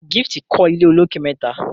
Gift kò ilé olokè mẹta.